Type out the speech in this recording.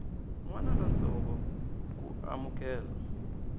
n wana lontsongo ku amukela